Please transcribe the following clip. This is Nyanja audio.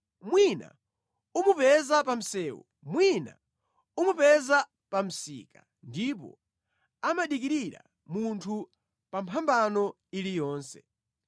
Mwina umupeza pa msewu, mwina umupeza pa msika, ndipo amadikirira munthu pa mphambano iliyonse).